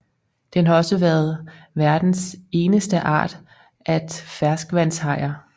Den har også verdens eneste art at ferskvandshajer